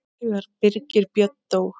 Þegar Birgir Björn dó.